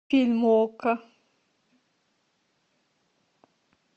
фильмы окко